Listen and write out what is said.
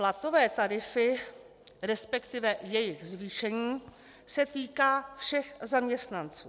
Platové tarify, respektive jejich zvýšení se týká všech zaměstnanců.